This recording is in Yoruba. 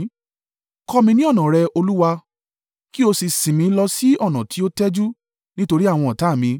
Kọ́ mi ní ọ̀nà rẹ, Olúwa, kí o sì sìn mi lọ sí ọ̀nà tí ó tẹ́jú nítorí àwọn ọ̀tá mi.